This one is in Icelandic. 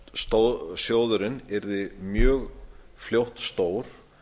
því að sjóðurinn yrði mjög fljótt stór